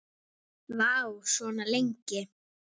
Vá, svona lengi?